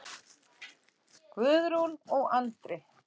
Guðrún og Andri.